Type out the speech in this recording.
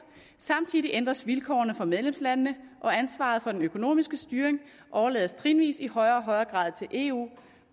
samtidig ændres vilkårene for medlemslandene og ansvaret for den økonomiske styring overlades trinvis i højere og højere grad til eu